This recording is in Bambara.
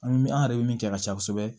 An mi an yɛrɛ be min kɛ ka ca kosɛbɛ